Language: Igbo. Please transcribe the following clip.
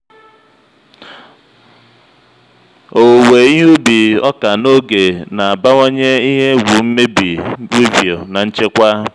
owuwe ihe ubi ọka n'oge na-abawanye ihe egwu mmebi weevil na nchekwa.